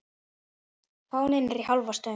Fáninn er í hálfa stöng.